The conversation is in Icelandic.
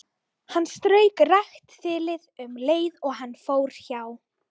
Hann strauk rakt þilið um leið og hann fór hjá.